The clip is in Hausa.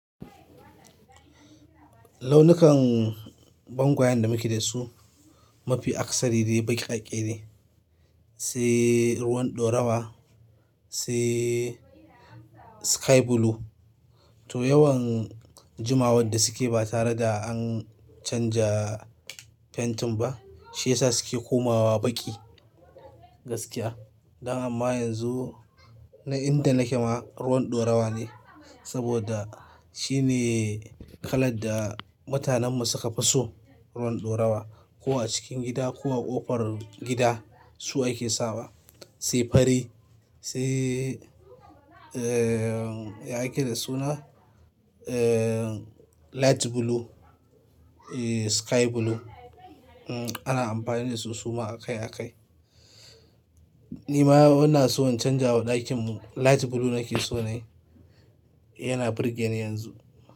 Launukan bangoyan da muke da su mafi aksari dai bakake ne. Sai ruwan ɗorawa, sai sky blue. Toh yawan jimawan da suke ba tare da an canza fentin ba, shi ya sa suke komawa baƙi gaskiya. Da ma yanzu, na inda nake ma ruwan ɗorawa ne. Saboda shi ne kalar da mutanen mu su ka fi so. Ruwan ɗorawa, ko a cikin gida ko a ƙofar gida su ake sawa. Sai fari, sai, eh, ya ake da suna? Eh, light blue, eh, sky blue. Mm, ana amfani da su suma a kai a kai. Ni ma ina so in canjawa ɗakin mu, light blue nake so na yi. Yana birge ni yanzu.